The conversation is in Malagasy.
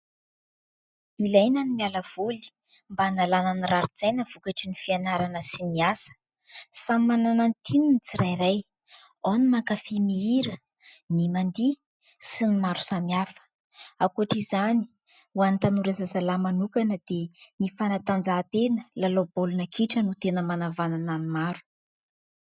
Ilaina ny miala voly mba analana ny raritsaina vokatry ny fianarana sy ny asa. Samy manana ny tiany ny tsirairay ao ny mankafia mihira ny mandihy sy ny maro samy hafa ankoatra izany ho an'ny tanora zazalahy manokana dia ny fanatanjahantena ny lalao baolina kitra no tena manavanana ny maro.